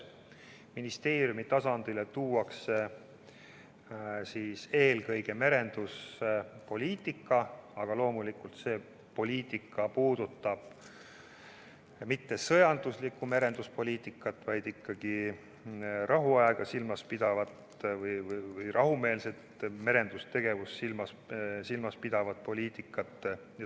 Ministeeriumi tasandile tuuakse eelkõige merenduspoliitika, aga loomulikult see ei puuduta sõjanduslikku merenduspoliitikat, vaid ikkagi rahuaega silmas pidavat või rahumeelset merendustegevust silmas pidavat poliitikat.